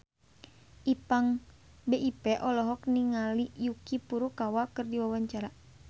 Ipank BIP olohok ningali Yuki Furukawa keur diwawancara